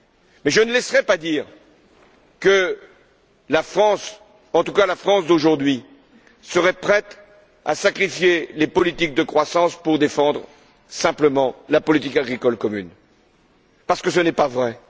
Mais je ne laisserai pas dire que la France, en tout cas la France d'aujourd'hui, serait prête à sacrifier les politiques de croissance pour défendre simplement la politique agricole commune, parce que ce n'est pas vrai.